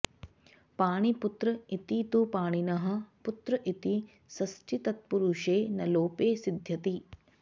पाणिपुत्र इति तु पाणिनः पुत्र इति षष्ठीतत्पुरुषे नलोपे सिध्यति